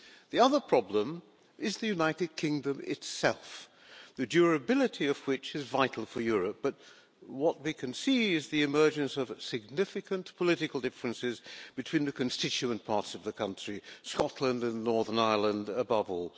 The other problem is the United Kingdom itself, the durability of which is vital for Europe, but where what we can see is the emergence of significant political differences between the constituent parts of the country Scotland and Northern Ireland above all.